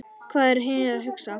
Hvað eru hinir að hugsa?